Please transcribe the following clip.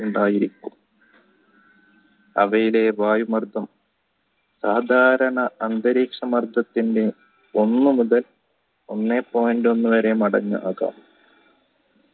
ഉണ്ടായിരിക്കും അവയിലെ വായു മർദ്ധം സാധാരണ അന്തരീക്ഷ മർദ്ദത്തിന്ടെ ഒന്ന് മുതൽ ഒന്നേ point ഒന്ന് വരെ അടങ്ങുന്നതാണ്